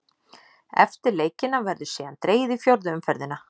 Eftir leikina verður síðan dregið í fjórðu umferðina.